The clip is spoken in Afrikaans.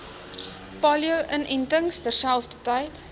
polio inentings terselfdertyd